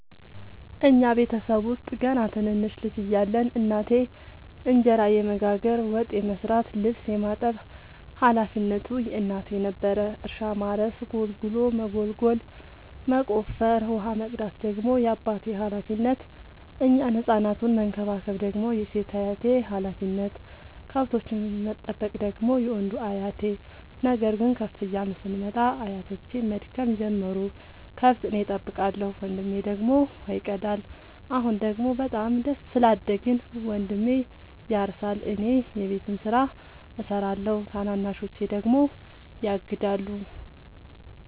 እኛ ቤተሰብ ውስጥ ገና ትንንሽ ልጅ እያለን እናቴ እንጀራ የመጋገር፤ ወጥ የመስራት ልብስ የማጠብ ሀላፊነቱ የእናቴ ነበረ። እርሻ ማረስ ጉልጎሎ መጎልጎል መቆፈር፣ ውሃ መቅዳት ደግሞ የአባቴ ሀላፊነት፤ እኛን ህፃናቱን መከባከብ ደግሞ የሴት አያቴ ሀላፊነት፣ ከብቶቹን መጠበቅ ደግሞ የወንዱ አያቴ። ነገር ግን ከፍ እያልን ስንመጣ አያቶቼም መድከም ጀመሩ ከብት እኔ ጠብቃለሁ። ወንድሜ ደግሞ ውሃ ይቀዳል። አሁን ደግሞ በጣም ስላደግን መንድሜ ያርሳ እኔ የቤቱን ስራ እሰራለሁ ታናናሾቼ ደግሞ ያግዳሉ።